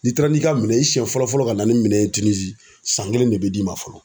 N'i taara n'i ka minɛ ye i siyɛn fɔlɔ fɔlɔ ka na ni minɛn ye Tinizi san kelen de bɛ d'i ma fɔlɔ.